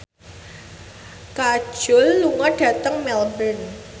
Kajol lunga dhateng Melbourne